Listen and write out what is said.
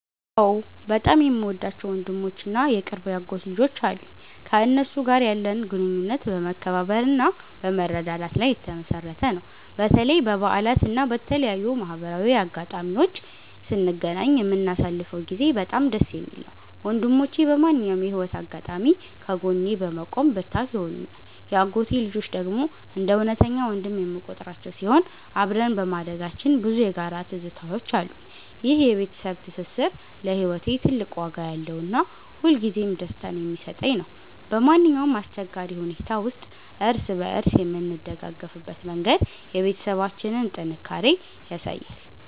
አዎ፣ በጣም የምወዳቸው ወንድሞች እና የቅርብ የአጎት ልጆች አሉኝ። ከእነሱ ጋር ያለን ግንኙነት በመከባበርና በመረዳዳት ላይ የተመሠረተ ነው። በተለይ በበዓላት እና በተለያዩ ማህበራዊ አጋጣሚዎች ስንገናኝ የምናሳልፈው ጊዜ በጣም ደስ የሚል ነው። ወንድሞቼ በማንኛውም የህይወት አጋጣሚ ከጎኔ በመቆም ብርታት ይሆኑኛል። የአጎቴ ልጆች ደግሞ እንደ እውነተኛ ወንድም የምቆጥራቸው ሲሆን፣ አብረን በማደጋችን ብዙ የጋራ ትዝታዎች አሉን። ይህ የቤተሰብ ትስስር ለህይወቴ ትልቅ ዋጋ ያለውና ሁልጊዜም ደስታን የሚሰጠኝ ነው። በማንኛውም አስቸጋሪ ሁኔታ ውስጥ እርስ በእርስ የምንደጋገፍበት መንገድ የቤተሰባችንን ጥንካሬ ያሳያል።